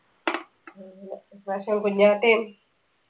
പക്ഷെ കുഞ്ഞാട്ടേം